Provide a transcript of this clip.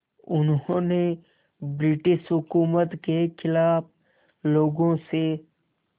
उन्होंने ब्रिटिश हुकूमत के ख़िलाफ़ लोगों से